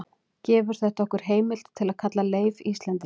gefur þetta okkur heimild til að kalla leif íslending